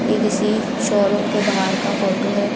ये किसी शोरूम के बाहर का फोटो है।